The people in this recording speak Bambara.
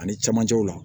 Ani camancɛw la